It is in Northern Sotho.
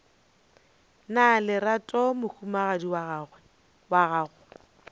na lerato mohumagadi wa gago